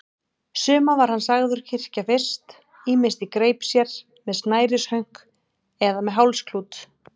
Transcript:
Suma var hann sagður kyrkja fyrst, ýmist í greip sér, með snærishönk eða með hálsklút.